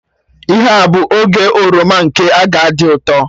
Ihe a bụ oge oroma, nke a ga-adị ụtọ